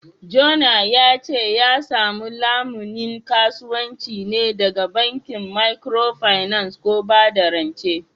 Jona ya ce ya samu lamunin kasuwanci ne daga bankin Microfinance ko bada rance